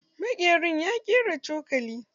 Maƙerin ya ƙera cokula.